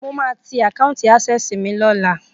Mo máa ti àkáùntì Access mi lọ́la.